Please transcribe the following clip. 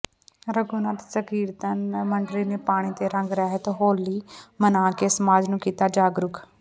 ਰਘੁਨਾਥ ਸੰਕੀਰਤਨ ਮੰਡਲੀ ਨੇ ਪਾਣੀ ਤੇ ਰੰਗ ਰਹਿਤ ਹੋਲੀ ਮਨਾ ਕੇ ਸਮਾਜ ਨੂੰ ਕੀਤਾ ਜਾਗਰੂਕ